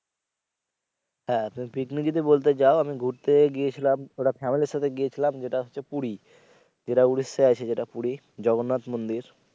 হ্যা তুমি পিকনিক যদি বলতে যাও আমি ঘুরতে গিয়েছিলাম ওটা family এর সাথে গিয়েছিলাম যেটা হচ্ছে পুরি যেটা উড়িষ্যায় আছে যেটা পুরি জগন্নাথ মন্দির।